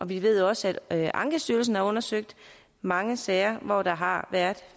vi ved også at ankestyrelsen har undersøgt mange sager hvor der har været